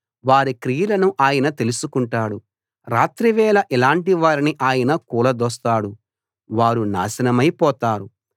వారి క్రియలను ఆయన తెలుసుకుంటున్నాడు రాత్రివేళ ఇలాటి వారిని ఆయన కూలదోస్తాడు వారు నాశనమై పోతారు